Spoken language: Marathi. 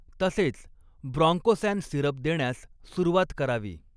तसेच ब्रॉंकोसॅन सिरप देण्यास सुरुवात करावी.